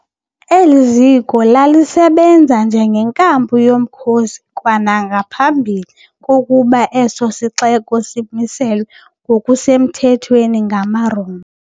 Eli ziko lalisebenza njengenkampu yomkhosi kwanangaphambi kokuba eso sixeko simiselwe ngokusemthethweni ngamaRoma.